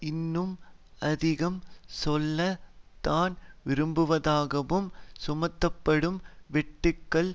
இன்னும் அதிகம் செல்ல தான் விரும்புவதாகவும் சுமத்துப்படும் வெட்டுக்கள்